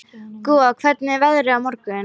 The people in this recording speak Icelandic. Gúa, hvernig er veðrið á morgun?